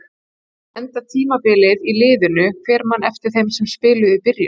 Ef ég enda tímabilið í liðinu, hver man eftir þeim sem spiluðu í byrjun?